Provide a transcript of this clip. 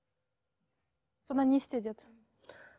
содан не істе деді